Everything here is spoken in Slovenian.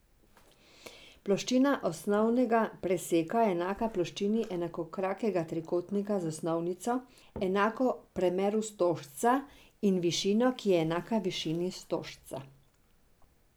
Ploščina osnega preseka je enaka ploščini enakokrakega trikotnika z osnovnico, enako premeru stožca, in višino, ki je enaka višini stožca.